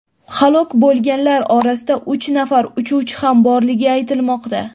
Halok bo‘lganlar orasida uch nafar uchuvchi ham borligi aytilmoqda.